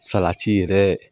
Salati yɛrɛ